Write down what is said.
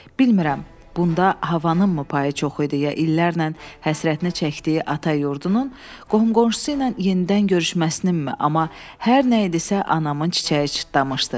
Bilmirəm, bunda havanınmı payı çox idi ya illərlə həsrətinə çəkdiyi ata yurdunun qohum-qonşusu ilə yenidən görüşməsininmi, amma hər nə idisə anamın çiçəyi çıtdamışdı.